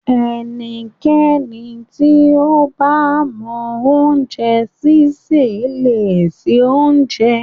Ẹnikẹ́ni tí ó bá mọ oúnjẹ sísè le se oúnjẹ.